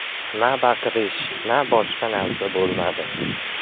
Na baqirish, na boshqa narsa bo‘lmadi.